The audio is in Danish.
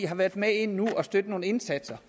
har været med inde at støtte nogle indsatser